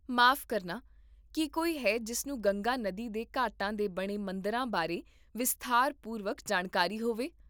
ਮਾਫ਼ ਕਰਨਾ, ਕੀ ਕੋਈ ਹੈ ਜਿਸ ਨੂੰ ਗੰਗਾ ਨਦੀ ਦੇ ਘਾਟਾਂ 'ਤੇ ਬਣੇ ਮੰਦਰਾਂ ਬਾਰੇ ਵਿਸਥਾਰਪੂਰਵਕ ਜਾਣਕਾਰੀ ਹੋਵੇ?